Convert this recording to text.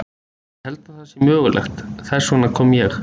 Ég held að það sé mögulegt, þess vegna kom ég.